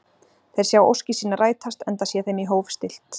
Þeir sjá óskir sínar rætast, enda sé þeim í hóf stillt.